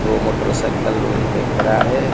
दो मोटरसाइकिल वहीं पे खड़ा हैं।